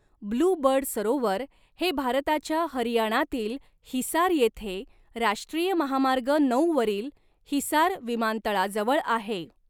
Blue bird सरोवर हे भारताच्या हरियाणातील हिसार येथे राष्ट्रीय महामार्ग नऊ वरील हिसार विमानतळाजवळ आहे.